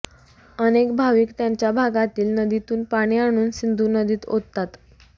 अनेक भाविक त्यांच्या भागातील नदीतून पाणी आणून सिंधू नदीत ओततात